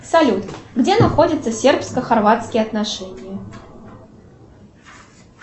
салют где находятся сербско хорватские отношения